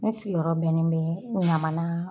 Ne sigiyɔrɔ bɛnen bɛ ɲamana